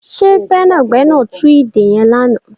Ṣe gbẹ́nàgbẹ́nà tú ìdè yẹn lánàá?